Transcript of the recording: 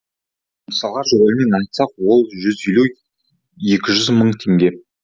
мысалға жобамен айтсақ ол жүз елу екі жүз мың мың теңге